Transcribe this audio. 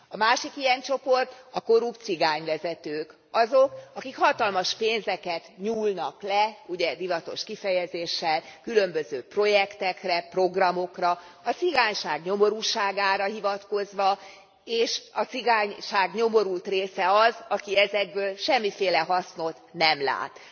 A másik ilyen csoport a korrupt cigányvezetők. Azok, akik hatalmas pénzeket nyúlnak le ugye divatos kifejezéssel különböző projektekre, programokra, a cigányság nyomorúságára hivatkozva, és a cigányság nyomorult része az, aki ezekből semmiféle hasznot nem lát.